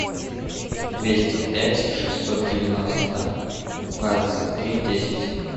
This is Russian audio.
двести пять шестьсот девяносто двадцать три десять